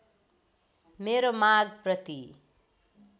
मेरो माग प्रति